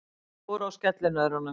Þau fóru á skellinöðrunum.